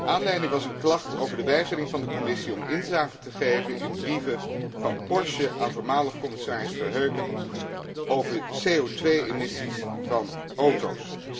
Aanleiding was een klacht over de weigering van de Commissie om inzage te geven in brieven van Porsche aan voormalig commissaris Verheugen over CO 2 emissies van auto's.